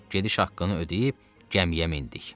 Gediş haqqını ödəyib gəmiyə mindik.